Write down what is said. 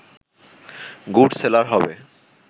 good seller হবে